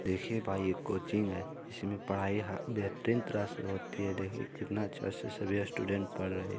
देखिये भाई कोचिंग हे जिसमे पढाई बेहतरीन तरह से होती हे देखिये कितना अच्छा सिस्या स्टूडेंट पढ़ रहे।